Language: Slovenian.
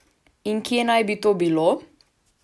In kje naj bi to bilo?